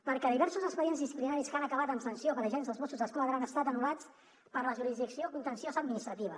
perquè diversos expedients disciplinaris que han acabat amb sanció per agents dels mossos d’esquadra han estat anul·lats per la jurisdicció contenciosa administrativa